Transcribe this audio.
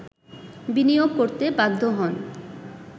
বিনিয়োগ করতে বাধ্য হন